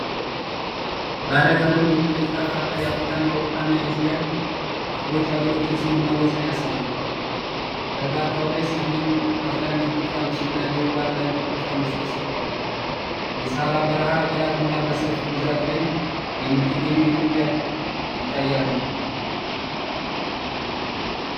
ባለቀለም የፖለቲካ ካርታ የአፍሪካን፣ የአውሮፓን እና የእስያን ክፍሎች የአገሮችን ስም እና ወሰን ያሳያል። በካርታው ላይ ሰሜን አትላንቲክ ውቅያኖስ እና ደቡብ አትላንቲክ ውቅያኖስ ተጽፈዋል። የሰሃራ በረሃ አገራት እና በሰፊው ግዛት ላይ የምትገኘው ኢትዮጵያ ይታያሉ።